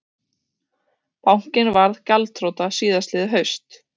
Bankinn varð gjaldþrota síðastliðið haust